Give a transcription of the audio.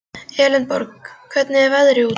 Elenborg, hvernig er veðrið úti?